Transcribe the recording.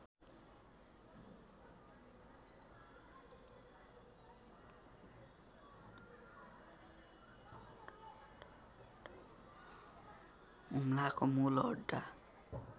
हुम्लाको मूल अड्डा